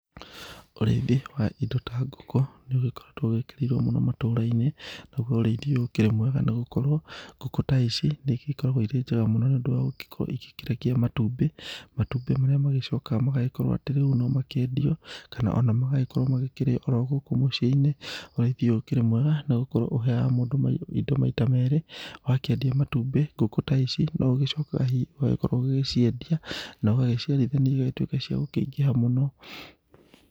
Ũrĩithi wa indo ta ngũkũ nĩ ũgĩkoretwo ũgĩkĩrĩirwo mũno matũra-inĩ, naguo ũrĩithi ũyũ ũkĩrĩ mwega nĩ gũkorwo, ngũkũ ta ici nĩ igĩkoragwo ikĩrĩ njega mũno nĩ ũndũ wa gũgĩkorwo igĩkĩrekia matumbĩ, matumbĩ marĩa magĩcokaga magagĩkorwo atĩ rĩu atĩ no makĩendio, kana ona magagĩkorwo magĩkĩrĩo o ro gũkũ mũciĩnĩ. Ũrĩithi ũyũ ũkĩrĩ mwega nĩ gũkorwo ũheaga mũndũ indo maita merĩ, wakĩendia matumbĩ, ngũkũ ta ici no ũgĩcokaga hihi ũgagĩkorwo ũgĩciendia na ũgagĩciarithania igagĩtuĩka cia gũkĩingĩha mũno.